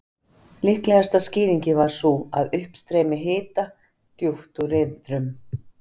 Líklegasta skýringin var sú, að uppstreymi hita djúpt úr iðrum